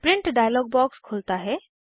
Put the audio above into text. print dialog box खुलता है